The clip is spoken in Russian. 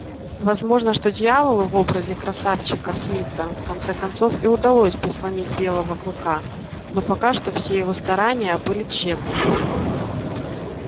возможно что дьяволу в образе красавчика смита в конце концов и удалось бы сломить белого клыка но пока что все его старания были тщетны